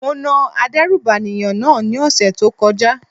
Mo na adérùbànìyàn náà ní ọ̀sẹ̀ tó kọjá.